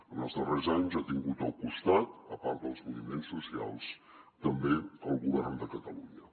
en els darrers anys ha tingut al costat a part dels moviments socials també el govern de catalunya